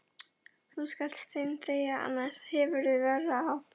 Og þú skalt steinþegja, annars hefurðu verra af.